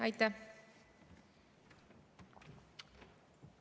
Aitäh!